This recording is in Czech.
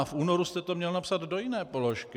A v únoru jste to měl napsal do jiné položky.